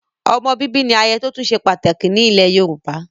Ọmọ bíbí ni ayẹyẹ tótún se pàtàkì ní ilẹ̀ Yorùbá.